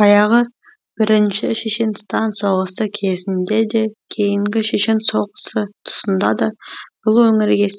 баяғы бірінші шешенстан соғысы кезінде де кейінгі шешен соғысы тұсында да бұл өңірге